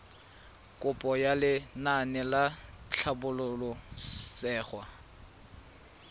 kopo ya lenaane la tlhabololosewa